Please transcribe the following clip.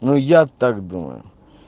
ну я так думаю